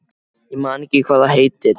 Ég man ekki hvað það heitir.